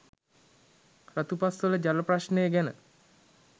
රතුපස්වල ජල ප්‍රශ්නය ගැන